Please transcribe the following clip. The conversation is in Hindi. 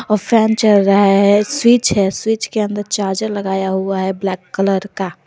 फैन चल रहा है स्विच है स्विच के अंदर चार्जर लगाया हुआ है ब्लैक कलर का।